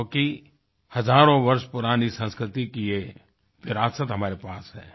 क्योंकि हज़ारों वर्ष पुरानी संस्कृति की ये विरासत हमारे पास है